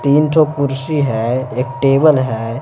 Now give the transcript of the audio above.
तीन तो कुर्सी है एक टेबल है।